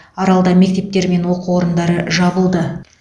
аралда мектептер мен оқу орындары жабылды